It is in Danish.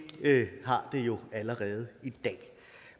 har det jo allerede i dag